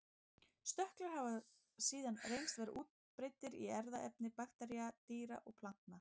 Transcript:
Stökklar hafa síðan reynst vera útbreiddir í erfðaefni baktería, dýra og plantna.